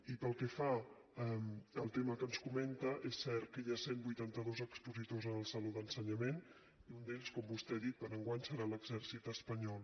i pel que fa al tema que ens comenta és cert que hi ha cent i vuitanta dos expositors en el saló d’ensenyament i un d’ells com vostè ha dit per a enguany serà l’exèrcit espanyol